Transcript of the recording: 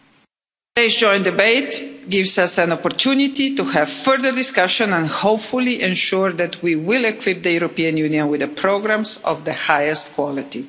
Today's joint debate gives us an opportunity to have further discussion and hopefully ensure that we will equip the European Union with the programmes of the highest quality.